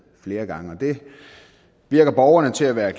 flere gange det virker borgerne til at være